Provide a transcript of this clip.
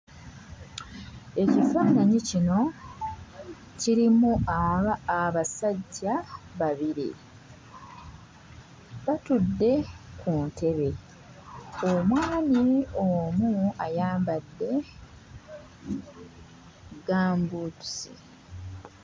Ekifaananyi kino kirimu abasajja babiri batudde ku ntebe, omwami omu ayambadde gambuutusi.